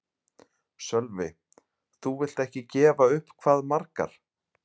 Sölvi: Þú vilt ekki gefa upp hvað margar?